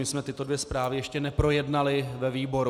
My jsme tyto dvě zprávy ještě neprojednali ve výboru.